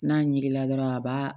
N'a ɲiginna dɔrɔn a b'a